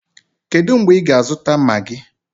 Kedụ mgbe ị ga-azụta maagi?